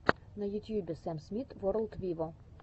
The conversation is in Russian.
на ютьюбе сэм смит ворлд виво